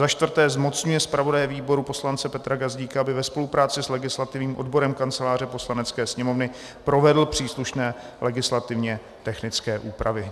Za čtvrté zmocňuje zpravodaje výboru poslance Petra Gazdíka, aby ve spolupráci s legislativním odborem Kanceláře Poslanecké sněmovny provedl příslušné legislativně technické úpravy.